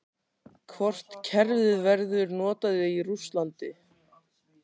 Hvort kerfið verður notað í Rússlandi?